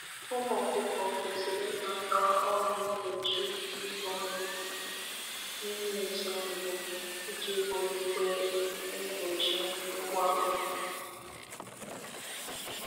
A ghaghị inye ụmụ anụ ọkụkọ ọgwụ mbụ ha n'ime izu mbụ ka e wulite usoro iguzogide ọrịa. usoro iguzogide ọrịa.